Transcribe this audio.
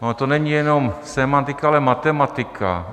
Ona to není jenom sémantika, ale matematika.